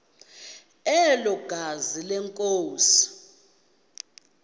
elo gazi lenkosi